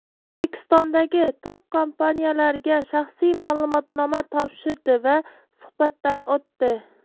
O‘zbekistondagi top kompaniyalarga shaxsiy ma’lumotnoma topshirdi va suhbatdan o‘tdi.